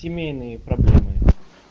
семейные проблемы